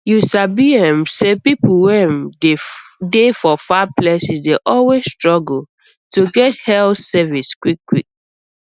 you sabi um say people wey um dey for far places dey always struggle to get health service quickquick